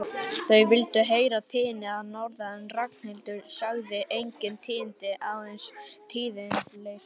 Þau vildu heyra tíðindi að norðan en Ragnhildur sagði engin tíðindi, aðeins tíðindaleysi.